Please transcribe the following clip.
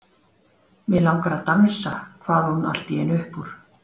Mig langar að dansa kvað hún allt í einu upp úr.